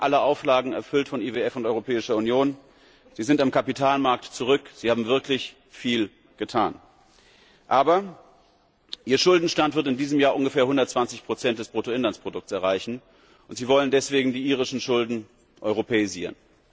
Sie haben alle Auflagen von IWF und Europäischer Union erfüllt. Sie sind am Kapitalmarkt zurück, Sie haben wirklich viel getan! Aber Ihr Schuldenstand wird in diesem Jahr ungefähr 120 des Bruttoinlandsprodukts erreichen, und Sie wollen deshalb die irischen Schulden europäisieren.